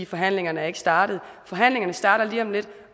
forhandlingerne er ikke startet forhandlingerne starter lige om lidt